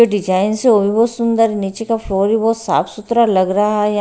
ये डिजाइंस है वो भी बहुत ही सुंदर नीचे का फ्लोर भी बहुत साफ सुथरा लग रहा है या--